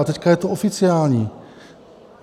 A teď je to oficiální.